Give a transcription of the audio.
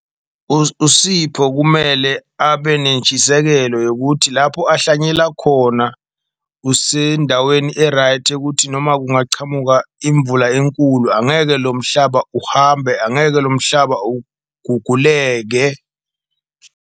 USipho kumele abe nentshisekelo yokuthi lapho ahlanyela khona kusendaweni e-right yokuthi noma kungachamuka imvula enkulu, angeke lo mhlaba uhambe, angeke lo mhlaba uguguleke.